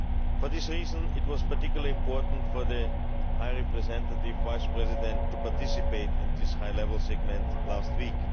For this reason, it was particularly important for the Vice-President High Representative to participate in this high level segment last week.